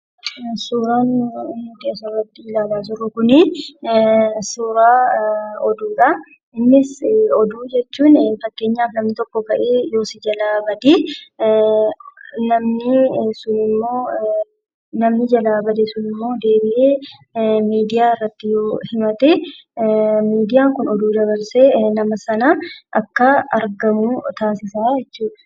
Suuraan nuti asirratti ilaalaa jirru kun suuraa oduudha. Innis oduu jechuun, fakkeenyaaf namni tokko ka'ee si jalaa badee namni sunimmoo namni jalaa bade sunimmoo deebi'ee miidiyaa irratti yoo himate, miidiyaan kun oduu dabarsee nama sana akka inni argamu taasisaa jechuudha.